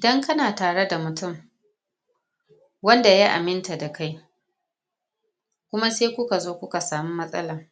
dan kana tare da mutum wanda ya aminta da kai kuma sai kuka zo kuka samu matsala